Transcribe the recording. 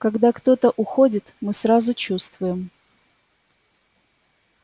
когда кто-то уходит мы сразу чувствуем